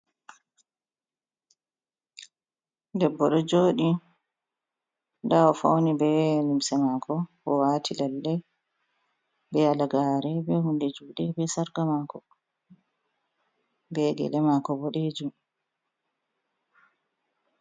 Debbo ɗo joɗi nda wo fauni be limse mako, wo wati lalle, be halagare, be hunde juɗe, be sarqa mako, be gyele mako boɗejum.